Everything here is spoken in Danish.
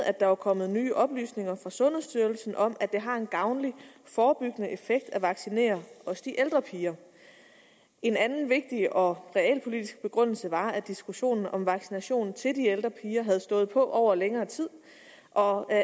at der var kommet nye oplysninger fra sundhedsstyrelsen om at det har en gavnlig forebyggende effekt også at vaccinere de ældre piger en anden vigtig og realpolitisk begrundelse var at diskussionen om vaccination til de ældre piger havde stået på over længere tid og at